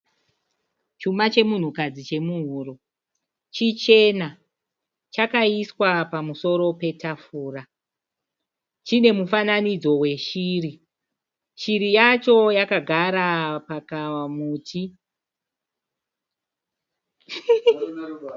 Chuma chemunhukadzi chemuhuro chichena chakaiswa pemusoro petafura chine mufananidzo weshiri, shiri yacho yakagara pakamuti.